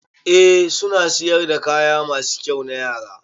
Eh suna siyar da kaya masu kyau na Yara.